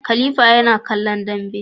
Khalifa yana kallon Dambe